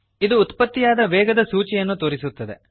ಇದು ಉತ್ಪತ್ತಿಯಾದ ವೇಗದ ಸೂಚಿಯನ್ನು ತೋರಿಸುತ್ತದೆ